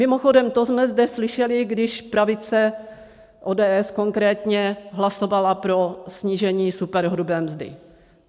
Mimochodem to jsme zde slyšeli, když pravice, ODS konkrétně, hlasovala pro snížení superhrubé mzdy.